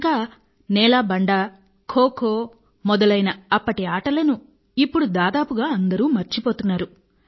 ఇంకా నేలాబండ ఖోఖో మొదలైన అప్పటి ఆటలను ఇప్పుడు దాదాపుగా అందరూ మర్చిపోతున్నారు